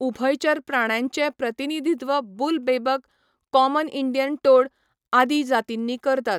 उभयचर प्राण्यांचें प्रतिनिधित्व बुल बेबक, कॉमन इंडियन टोड आदी जातींनी करतात.